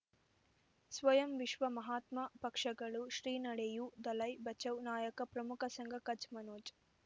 ಸ್ವಯಂ ವಿಶ್ವ ಮಹಾತ್ಮ ಪಕ್ಷಗಳು ಶ್ರೀ ನಡೆಯೂ ದಲೈ ಬಚೌ ನಾಯಕ ಪ್ರಮುಖ ಸಂಘ ಕಚ್ ಮನೋಜ್